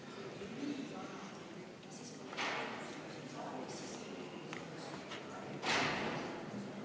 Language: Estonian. Palun võtta seisukoht ja hääletada!